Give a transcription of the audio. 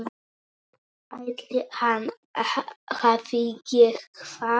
Ætli hann hafi gert það?